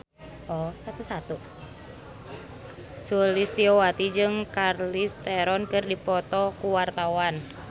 Sulistyowati jeung Charlize Theron keur dipoto ku wartawan